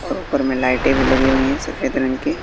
और उपर में लाइटें भी लगीं हुई है सफेद रंग की--